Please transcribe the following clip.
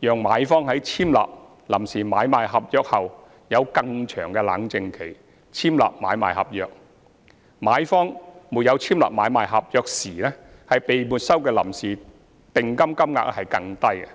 讓買方在簽立臨時買賣合約後有更長"冷靜期"簽立買賣合約，以及在買方沒有簽立買賣合約時被沒收的臨時訂金金額更低。